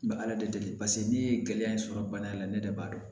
Bɛ ala de deli paseke ne ye gɛlɛya in sɔrɔ bana in na ne de b'a dɔn